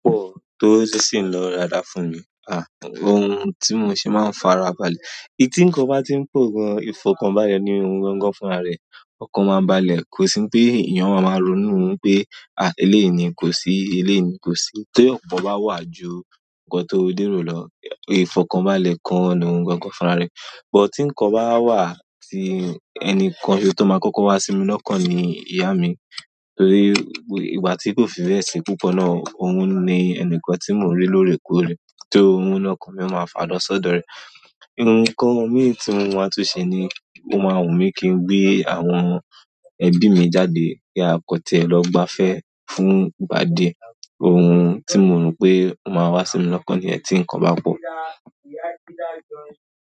Ọ̀ tó sì ń lọ rada fún mi, à, ohun tí mo ṣe máa ń fara balẹ̀. Ẹ̀ tí nǹkan bá ti ń pọ gan, ìfọ̀kàn bále ni ohun gangan fún ara rẹ̀. Ọ̀kan máa ń balẹ̀, kò sí pé èèyàn máa máa ronú pé, "à, eléèyí kò sí, eléèyí kò sí." Tí ọ̀pọ̀ bá wà ju nǹkan tó lèrò lọ, ìfọ̀kàn bálẹ̀ kan ni ohun gangan fún ara rẹ̀. Bút tí nǹkan bá wà tí ẹnìkan tó máa kọ́kọ́ wá sí mi lọ́kàn ni ìyá mi, torí ìgbà tí kò fi bẹ́ẹ̀ ṣe púpọ̀ náà, òun ni ẹnìkan tí mò ń ri lórè kóòrè. So oun ni okan mi ma falo sọdọ re. Òhun kan mi tí mo máa tún ṣe ni, ó máa wùn mí kí n gbé àwọn ẹbí mi jáde pé akọtẹ́ẹ́ lọ gbáfẹ́ fún gba dé. Ohun tí mo rò pé ó máa wá sí mi lọ́kan ni ẹ̀ tí nǹkan bá pọ̀.